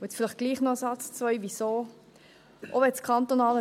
Und nun doch noch einen oder zwei Sätze, weshalb.